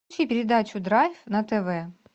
включи передачу драйв на тв